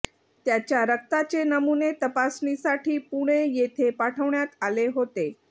त्याच्या रक्ताचे नमुने तपासणीसाठी पुणे येथे पाठवण्यात आले होते